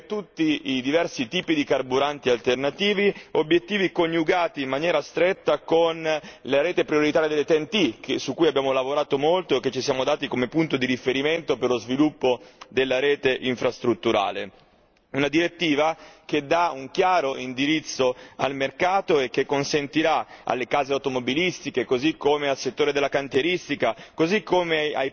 Obiettivi per tutti i diversi tipi di carburanti alternativi, obiettivi coniugati in maniera stretta con la rete prioritaria delle TEN T, su cui abbiamo lavorato molto e che ci siamo dati come punto di riferimento per lo sviluppo della rete infrastrutturale. Si tratta di una direttiva che dà un chiaro indirizzo al mercato e che consentirà alle case automobilistiche, così come al settore della cantieristica,